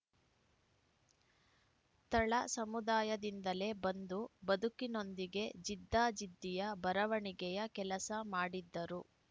ತಳ ಸಮುದಾಯದಿಂದಲೇ ಬಂದು ಬದುಕಿನೊಂದಿಗೆ ಜಿದ್ದಾಜಿದ್ದಿಯ ಬರವಣಿಗೆಯ ಕೆಲಸ ಮಾಡಿದ್ದರು